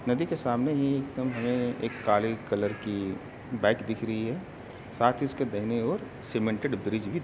नदी के सामने ही एकदम हमे एक काले कलर की बाइक दिख रही है। साथ ही उसके दाहिने ओर सीमेंटेड ब्रिज भी --